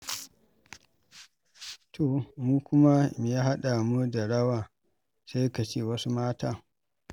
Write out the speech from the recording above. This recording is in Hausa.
To mu kuma me ya haɗa mu da rawa, sai ka ce wasu mata.